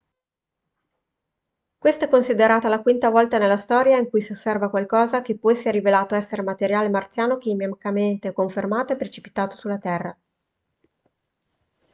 questa è considerata la quinta volta nella storia in cui si osserva qualcosa che poi si è rivelato essere materiale marziano chimicamente confermato e precipitato sulla terra